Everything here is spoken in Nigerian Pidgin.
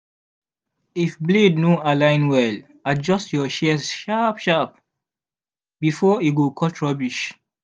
if blade no align well adjust your shears sharp-sharp before e go cut rubbish.